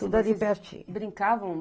Tudo ali pertinho. Brincavam